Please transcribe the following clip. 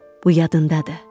Bu yadındadır?